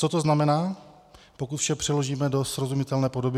Co to znamená, pokud vše přeložíme do srozumitelné podoby?